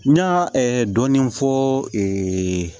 N ɲa dɔɔnin fɔɔ